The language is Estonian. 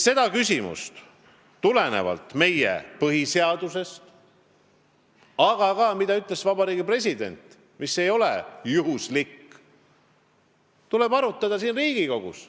Seda küsimust tuleb tulenevalt meie põhiseadusest – aga seda ütles ka Vabariigi President, mis ei ole juhuslik – arutada siin Riigikogus.